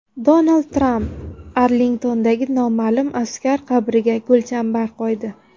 Donald Tramp Arlingtondagi Noma’lum askar qabriga gulchambar qo‘ydi.